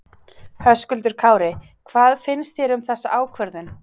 Höskuldur Kári: Hvað finnst þér um þessa ákvörðun?